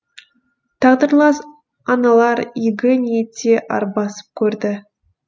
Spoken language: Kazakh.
тағдырлас аналар игі ниетте арбасып көрді